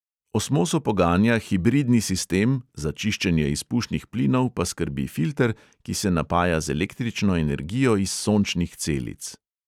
Osmoso poganja hibridni sistem, za čiščenje izpušnih plinov pa skrbi filter, ki se napaja z električno energijo iz sončnih celic.